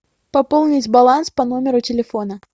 пополнить баланс по номеру телефона